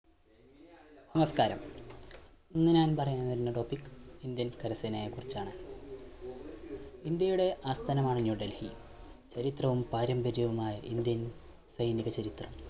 നമസ്കാരം, ഇന്ന് ഞാൻ പറയാൻ വരുന്ന topic ഇന്ത്യൻ കരസേനയെ കുറിച്ചാണ്. ഇന്ത്യയുടെ ആസ്ഥാനമാണ് ന്യൂഡൽഹി ചരിത്രവും പാരമ്പര്യവുമായ ഇന്ത്യൻ സൈനിക ചരിത്രം